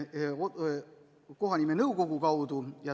Nimelt, kohanimenõukogu kaudu.